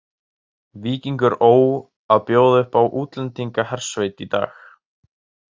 Víkingur Ó að bjóða upp á útlendingahersveit í dag.